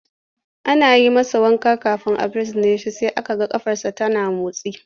Ana yi masa wanka kafin a binne shi sai aka ga ƙafarsa tana motsi.